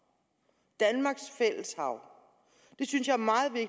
danmarks fælles hav det synes jeg